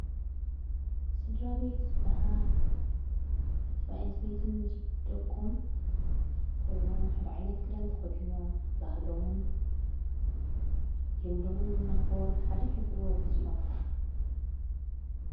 ስድራቤት ዘበሃል ሰብኣአን ሰበይትን ምስ ብደቆም ኮይኖም ሓደኣይነት ግዳንተ ኾዲኖም ባህሎምን ሉምዶምን እናኾር ብሓድይኅልፍዎ ግዜኦም።